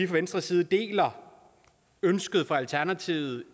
venstres side deler ønsket fra alternativet